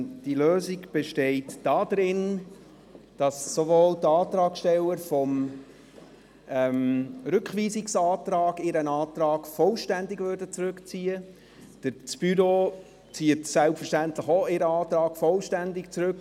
Diese Lösung besteht darin, dass sowohl die Antragsteller des Rückweisungsantrags ihren Antrag vollständig zurückziehen als auch das Büro seinen Antrag selbstverständlich vollständig zurückzieht.